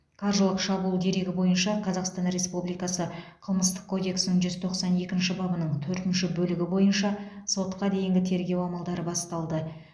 қаржылық шабуыл дерегі бойынша қазақстан республикасы қылмыстық кодексінің жүз тоқсан екінші бабының төртінші бөлігі бойынша сотқа дейінгі тергеу амалдары басталды